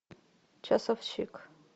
часовщик